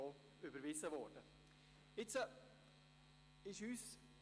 » Sie wurde ebenfalls überwiesen.